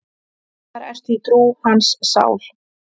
Þar ertu í trú, hans sál.